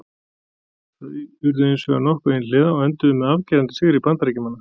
Þau urðu hins vegar nokkuð einhliða og enduðu með afgerandi sigri Bandaríkjamanna.